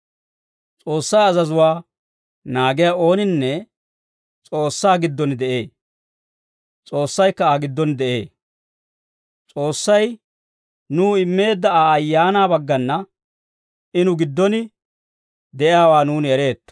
S'oossaa azazuwaa naagiyaa ooninne S'oossaa giddon de'ee; S'oossaykka Aa giddon de'ee; S'oossay nuw immeedda Aa Ayaanaa baggana I nu giddon de'iyaawaa nuuni ereetto.